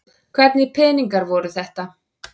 Hvernig peningar voru þetta?